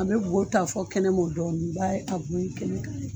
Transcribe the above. A bɛ bɔ ta fɔ kɛnɛmɔ dɔɔni i b'a ye a bo in kɛnɛ ka